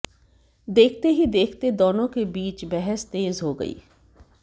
देखते ही देखते दोनों के बीच बहस तेज हो गई